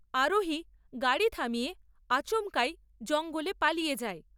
আরোহী গাড় থামিয়ে আচমকাই জঙ্গলে পালিয়ে যায়।